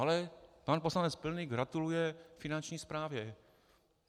Ale pan poslanec Pilný gratuluje Finanční správě.